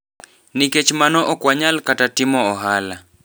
Nikech mano okwanyal kata timo ohala.